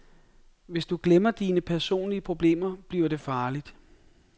Hvis du glemmer dine personlige problemer, bliver det farligt.